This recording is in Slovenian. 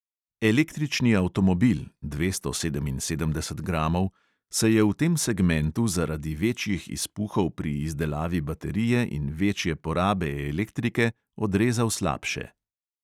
Električni avtomobil (dvesto sedeminsedemdeset gramov) se je v tem segmentu zaradi večjih izpuhov pri izdelavi baterije in večje porabe elektrike odrezal slabše.